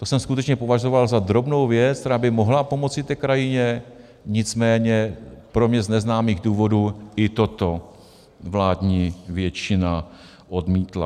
To jsem skutečně považoval za drobnou věc, která by mohla pomoci té krajině, nicméně z pro mě neznámých důvodů i toto vládní většina odmítla.